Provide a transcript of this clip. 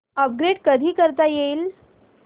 upgrade कधी करता येईल